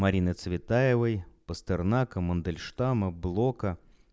марины цветаевой пастернака мандельштама блока